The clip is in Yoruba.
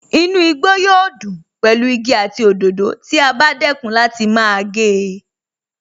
Inú igbó yóò dùn pẹ̀lú igi àti òdòdó tí a bá dẹ́kun láti máa gé e